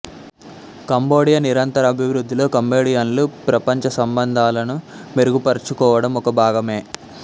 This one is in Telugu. కంబోడియా నిరంతర అభివృద్ధిలో కంబోడియన్లు ప్రపంచసంబంధాలను మెరుగుపచుకోవడం ఒక భాగమే